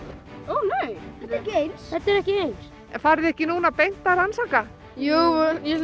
ó nei nei þetta er ekki eins farið þið ekki beint að rannsaka jú ég